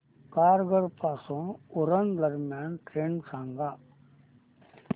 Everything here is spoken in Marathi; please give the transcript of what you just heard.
तारघर पासून उरण दरम्यान ट्रेन सांगा